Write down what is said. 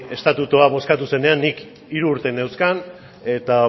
estatutua bozkatu zenean nik hiru urte neuzkan eta